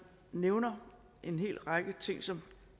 nævner en hel række ting som